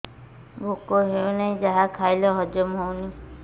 ଭୋକ ହେଉନାହିଁ ଯାହା ଖାଇଲେ ହଜମ ହଉନି